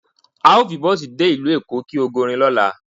Ao fi bosi de ilu Eko ki ogorin lola